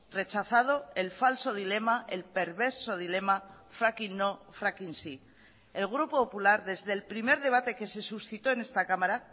rechazado el falso dilema el perverso dilema fracking no fracking sí el grupo popular desde el primer debate que se suscitó en esta cámara